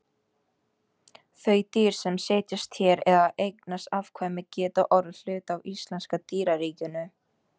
Þau dýr sem setjast hér að og eignast afkvæmi geta orðið hluti af íslenska dýraríkinu.